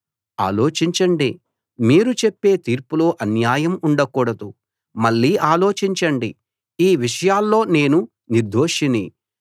ఆలోచించండి మీరు చెప్పే తీర్పులో అన్యాయం ఉండకూడదు మళ్ళీ ఆలోచించండి ఈ విషయాల్లో నేను నిర్దోషిని